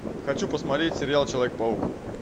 хочу посмотреть сериал человек паук